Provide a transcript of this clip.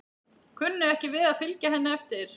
Kunni ekki við að fylgja henni eftir.